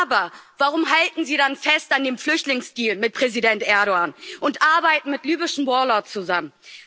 Aber warum halten Sie dann fest an dem Flüchtlingsdeal mit Präsident Erdoğan und arbeiten mit libyschen Warlords zusammen?